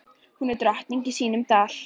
Hér er hún drottning í sínum dal.